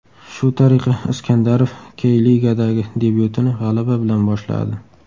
Shu tariqa, Iskandarov Key-Ligadagi debyutini g‘alaba bilan boshladi.